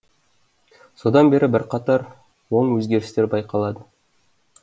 содан бері бірқатар оң өзгерістер байқалады